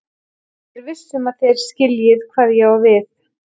Og ég er viss um að þér skiljið hvað ég á við.